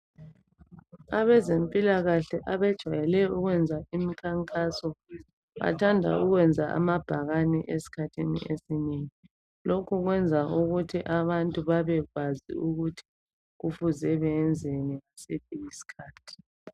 Abezempilakahle abejwayele ukwenza imikhankaso bathanda ukwenza amabhakani esikhathini esinengi, lokhu kwenza ukuthi abantu babekwazi ukuthi kufuze beyenzeni ngasiphi isikhathi.